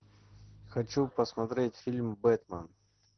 хочу посмотреть фильм бэтмен